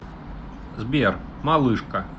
сбер малышка